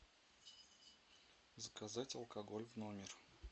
заказать алкоголь в номер